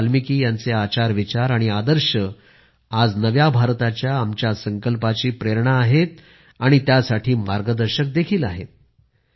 महर्षी वाल्मिकी यांचे आचार विचार आणि आदर्श आज नव्या भारताच्या आमच्या संकल्पाची प्रेरणा आहेत आणि त्यासाठी मार्गदर्शक देखील आहेत